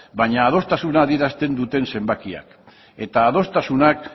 baina adostasuna adierazten dute zenbakiak eta adostasunak